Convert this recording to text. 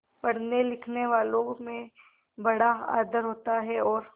पढ़नेलिखनेवालों में बड़ा आदर होता है और